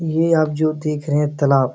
ये आप जो देख रहे हैं तालाब --